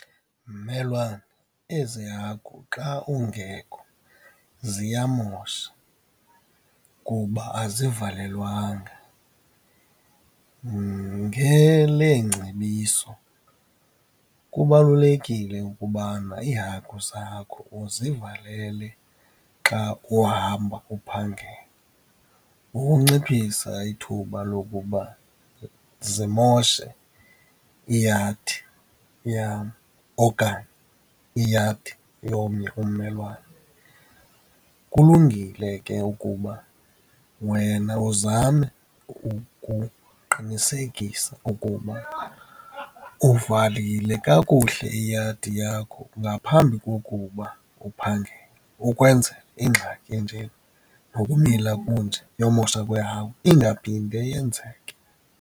Mmelwane, ezi hagu xa ungekho ziyamosha kuba azivalelwanga. Ngeleengcebiso kubalulekile ukubana iihagu zakho uzivalele xa uhamba uphangela, ukunciphisa ithuba lokuba zimoshe iyadi yam okanye iyadi yomnye ummelwane. Kulungile ke ukuba wena uzame ukuqinisekisa ukuba uvalile kakuhle iyadi yakho ngaphambi kokuba uphangele, ukwenzela ingxaki enjena nokumila kunje yomosha kwehagu ingaphinde yenzeke.